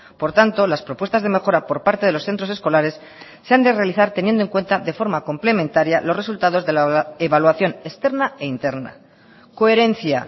por tanto las propuestas de mejora por parte de los centros escolares se han de realizar teniendo en cuenta de forma complementaria los resultados de la evaluación externa e interna coherencia